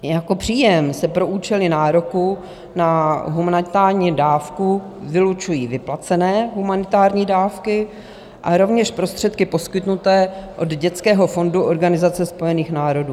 Jako příjem se pro účely nároku na humanitární dávku vylučují vyplacené humanitární dávky a rovněž prostředky poskytnuté od Dětského fondu Organizace spojených národů.